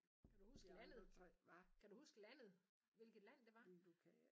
Kan du huske landet? Kan du huske landet hvilket land det var?